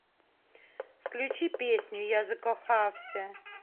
включи песню я закохався